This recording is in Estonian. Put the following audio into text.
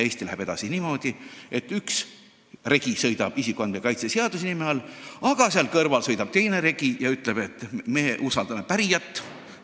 Eesti läheb edasi niimoodi, et üks regi sõidab isikuandmete kaitse seaduse nime all ja selle kõrval sõidab teine regi, mis ütleb, et me usaldame pärijat.